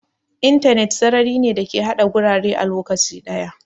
Intanet sarari ne da ke haɗa gurare a lokaci ɗaya.